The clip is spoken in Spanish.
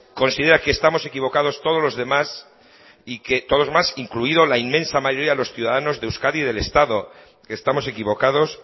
considera que estamos equivocados todos los demás y que todos los demás incluido la inmensa mayoría de los ciudadanos de euskadi y del estado que estamos equivocados